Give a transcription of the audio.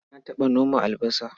Na taɓa noma albasa.